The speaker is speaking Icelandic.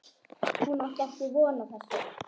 Hún átti ekki von á þessu.